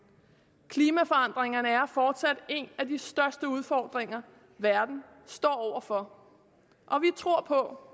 klimaforandringerne er fortsat en af de største udfordringer verden står over for og vi tror på